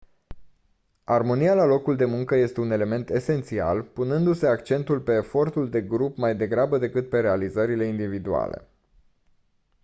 armonia la locul de muncă este un element esențial punându-se accentul pe efortul de grup mai degrabă decât pe realizările individuale